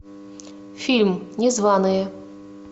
фильм незваные